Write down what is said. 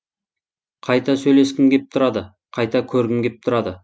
қайта сөйлескім кеп тұрады қайта көргім кеп тұрады